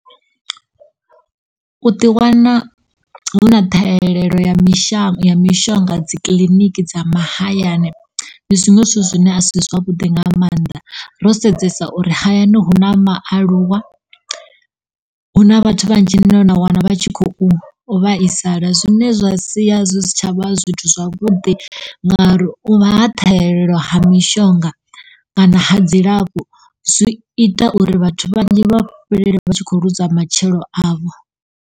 U ḓi wana hu na ṱhahelelo ya mishang, ya mishonga dzi kiḽiniki dza mahayani ndi zwinwe zwithu zwine a si zwavhuḓi nga mannḓa ro sedzesa uri hayani huna maaluwa, huna vhathu vhadzhi vhane na wana vha tshi khou vhaisala zwine zwa sia zwi si tshavha zwithu zwavhuḓi ngauri u vha ha ṱhahelelo ha mishonga kana ha dzilafho zwi i ta uri vhathu vhanzhi vha fhelelwe vha tshi khou ḽuza matshilo avho.